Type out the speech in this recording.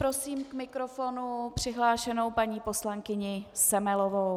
Prosím k mikrofonu přihlášenou paní poslankyni Semelovou.